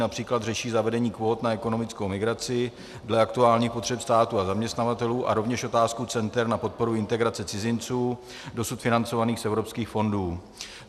Například řeší zavedení kvót na ekonomickou migraci dle aktuálních potřeb státu a zaměstnavatelů a rovněž otázku center na podporu integrace cizinců dosud financovaných z evropských fondů.